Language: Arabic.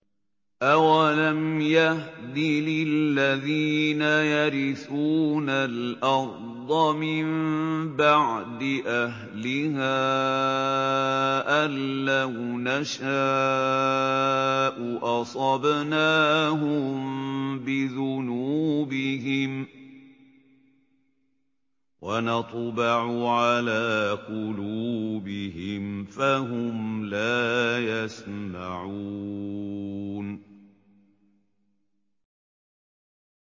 أَوَلَمْ يَهْدِ لِلَّذِينَ يَرِثُونَ الْأَرْضَ مِن بَعْدِ أَهْلِهَا أَن لَّوْ نَشَاءُ أَصَبْنَاهُم بِذُنُوبِهِمْ ۚ وَنَطْبَعُ عَلَىٰ قُلُوبِهِمْ فَهُمْ لَا يَسْمَعُونَ